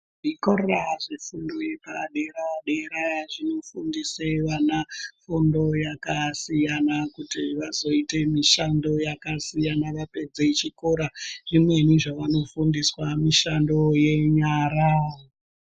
Zvikora zvepadera-dera zvinofundise vana fundo yakakasiyana, kuti vazoite mishando yakasiyana vapedze chikora. Zvimweni zvavanofundiswa mishando yenyara.